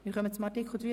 Zu Artikel 32c (neu)